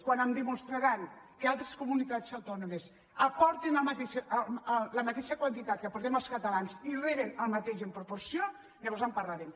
quan em demostraran que altres comunitats autònomes aporten la mateixa quantitat que aportem els catalans i reben el mateix en proporció llavors en parlarem